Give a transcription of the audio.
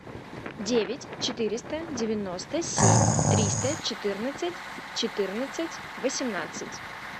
девять четыреста девяносто семь триста четырнадцать четырнадцать восемнадцать